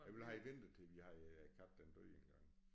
Jeg ville have ventet til at vi havde æ kat den døde engang